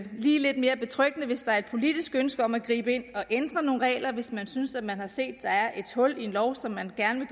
lidt mere betryggende hvis der er et politisk ønske om at gribe ind og ændre nogle regler hvis man synes at man har set at der er et hul i en lov som man gerne